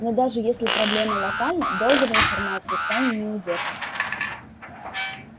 но даже если проблема локальна долго вы информацию в тайне не удержите